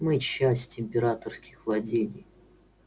мы часть императорских владений